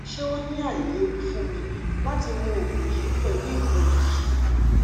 ṣe o ni ailewu fun mi lati mu oogun yii pẹlu ikolu yii